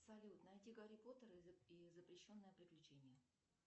салют найти гарри поттера и запрещенное приключение